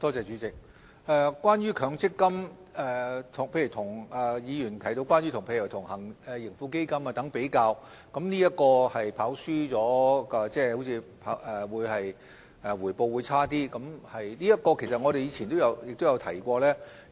主席，關於強積金，議員提到與盈富基金作比較，說是強積金"跑輸"了，即回報較差。就此方面，其實我們以前也有提過。